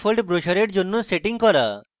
3fold ব্রোসরের জন্য setting করা